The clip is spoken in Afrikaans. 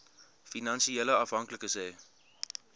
finansiële afhanklikes hê